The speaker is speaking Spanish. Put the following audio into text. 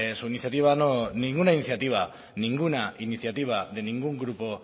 su iniciativa ninguna iniciativa de ningún grupo